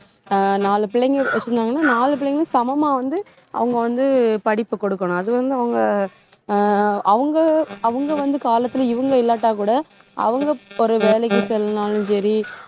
அஹ் நாலு பிள்ளைங்க வச்சிருந்தாங்கன்னா நாலு பிள்ளைங்களும் சமமா வந்து அவங்க வந்து படிப்பு குடுக்கணும். அது வந்து அவங்க அஹ் அவங்க அவங்க வந்து காலத்துல இவங்க இல்லாட்டா கூட அவங்க ஒரு வேலைக்கு செல்லனாலும் சரி